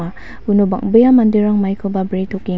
uno bang·bea manderang maikoba bretokeng--